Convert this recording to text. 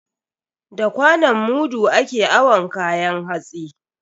Da kwanon mudu ake awon kayan hatsi.